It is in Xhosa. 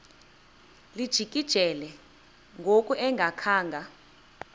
lijikile ngoku engakhanga